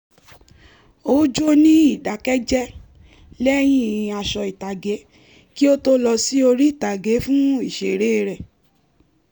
ó jó ní ìdákẹ́jẹ́ lẹ́yìn aṣọ ìtàgé kí ó tó lọ sí orí ìtàgé fún ìṣeré rẹ̀